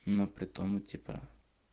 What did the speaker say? но потом у тебя